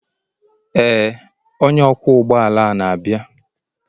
ee onye ọkwọ ụgbọ ala na-abịa.